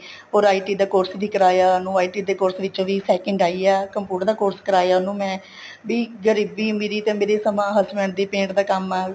or IT ਦਾ course ਕਰਾਇਆ ਉਹਨੂੰ IT ਦੇ course ਵਿੱਚੋਂ ਵੀ second ਆਈ ਹਾਂ computer ਦਾ course ਕਰਾਇਆ ਉਹਨੂੰ ਮੈਂ ਵੀ ਗਰੀਬੀ ਅਮੀਰੀ ਤੇ ਮੈਰੇ ਸਮਾਂ ਆ husband ਦਾ paint ਦਾ ਕੰਮ ਆ